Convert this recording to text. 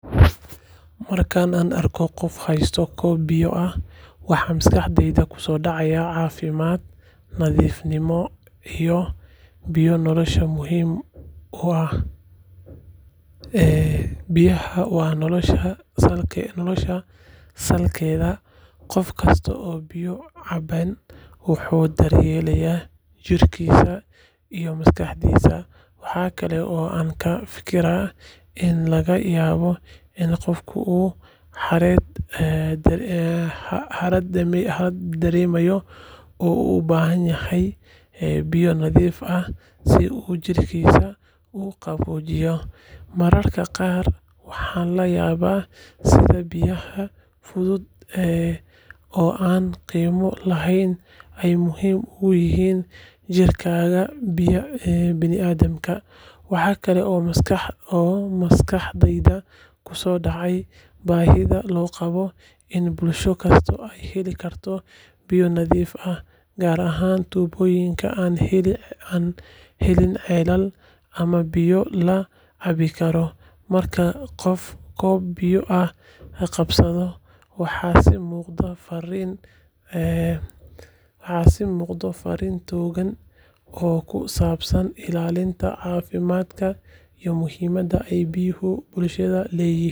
Marka aan arko qof haysta koob biyo ah, waxa maskaxdayda kusoo dhacaya caafimaad, nadiifnimo iyo biyo nolosha muhiim u ah. Biyaha waa nolosha salkeeda, qof kasta oo biyo cabayaana wuxuu daryeelayaa jirkiisa iyo maskaxdiisa. Waxa kale oo aan ka fikiraa in laga yaabo in qofka uu harraad dareemayo oo uu u baahan yahay biyo nadiif ah si uu jidhkiisa u qaboojiyo. Mararka qaar waxaan la yaabaa sida biyaha fudud ee aan qiimo lahayn ay muhiim ugu yihiin jiritaanka bini’aadamka. Waxa kale oo maskaxdayda kusoo dhacda baahida loo qabo in bulsho kasta ay heli karto biyo nadiif ah, gaar ahaan tuulooyinka aan helin ceelal ama biyo la cabbi karo. Marka qof koob biyo ah qabsado, waxaa ii muuqda fariin togan oo ku saabsan ilaalinta caafimaadka iyo muhiimadda ay biyuhu bulshada u leeyihiin.